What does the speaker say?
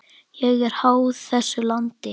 Ég er háð þessu landi.